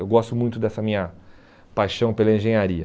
Eu gosto muito dessa minha paixão pela engenharia.